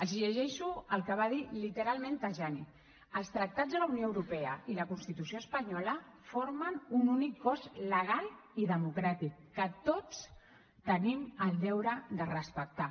els llegeixo el que va dir literalment tajani els tractats de la unió europea i la constitució espanyola formen un únic cos legal i democràtic que tots tenim el deure de respectar